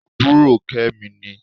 Àbúrò Kẹ́mi ni